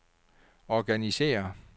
organisér